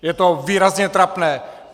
Je to výrazně trapné.